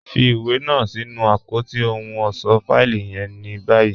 Fì iwé náà sí̀nù apótí òhùn ọṣọ́ fáìlì yẹ̀n ní báyì.